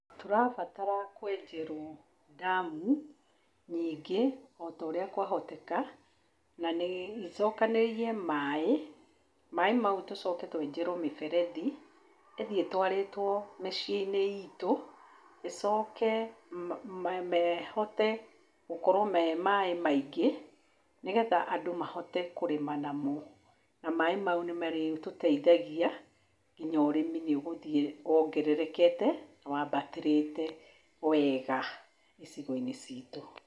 Tũrabatara kwenjerwo ndamu nyingĩ o taũrĩa kwahoteka, icokanĩrĩrie maaĩ, maaĩ mau tũcoke twenjerwo mĩberethi, ĩthiĩ ĩtwarĩtwo mĩciĩ-inĩ itũ, ĩcoke mahote gũkorwo me maaĩ maingĩ, nĩgetha andũ mahote kũrĩma namo, na maaĩ mau nĩmarĩtũteithagia, nginya ũrĩmi nĩũgũthiĩ wongererekete, wambatĩrĩte wega icigo-inĩ citũ.